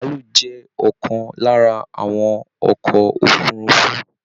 Bàálù jẹ ọkan lára àwọn ọkọ òfurùnfu